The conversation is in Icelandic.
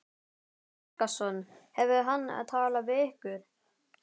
Guðjón Helgason: Hefur hann talað við ykkur?